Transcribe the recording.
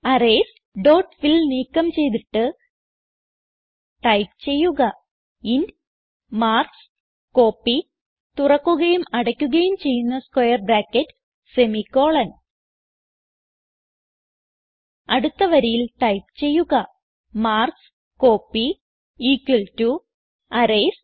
arrays dot fill നീക്കം ചെയ്തിട്ട് type ചെയ്യുക ഇന്റ് മാർക്ക്സ്കോപ്പി അടുത്ത വരിയിൽ ടൈപ്പ് ചെയ്യുക മാർക്ക്സ്കോപ്പി അറേയ്സ്